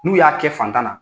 N'u y'a kɛ fantan na.